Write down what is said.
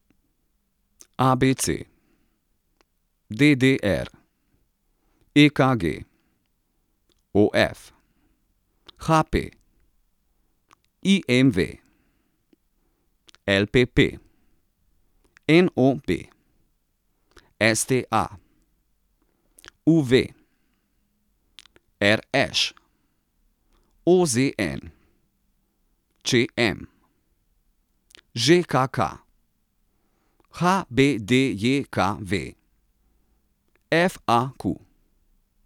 A B C; D D R; E K G; O F; H P; I M V; L P P; N O B; S T A; U V; R Š; O Z N; Č M; Ž K K; H B D J K V; F A Q.